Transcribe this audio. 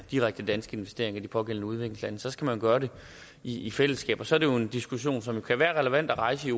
direkte danske investeringer i de pågældende udviklingslande så skal man gøre det i i fællesskab og så er det jo en diskussion som kan være relevant at rejse